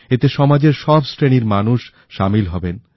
এতে সমাজের সব শ্রেণীর মানুষ সামিল হবেন